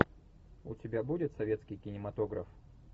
у тебя будет советский кинематограф